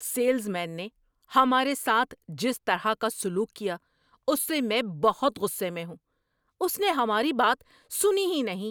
Sales man نے ہمارے ساتھ جس طرح کا سلوک کیا اس سے میں بہت غصے میں ہوں، اس نے ہماری بات سنی ہی نہیں۔